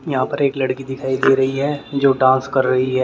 यहां पर एक लड़की दिखाई दे रही है जो डांस कर रही है ।